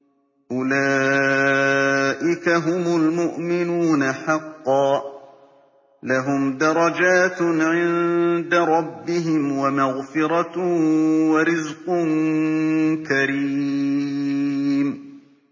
أُولَٰئِكَ هُمُ الْمُؤْمِنُونَ حَقًّا ۚ لَّهُمْ دَرَجَاتٌ عِندَ رَبِّهِمْ وَمَغْفِرَةٌ وَرِزْقٌ كَرِيمٌ